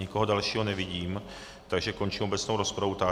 Nikoho dalšího nevidím, takže končím obecnou rozpravu.